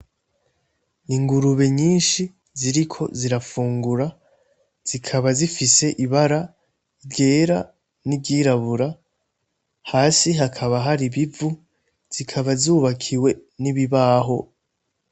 Ingurube nyinshi ziriko zirafungura zikaba zifise ibara ryera n'iryirabura hasi hakaba hari bivu zikaba zubakiwe n'ibibaho.